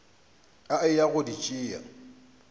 a eya go di tšea